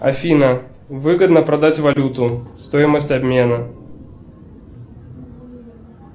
афина выгодно продать валюту стоимость обмена